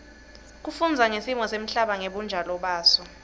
kufundza ngesimo semhlaba ngebunjalo baso